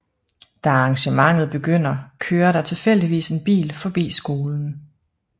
Da arrangementet begynder kører der tilfældigvis en bil forbi skolen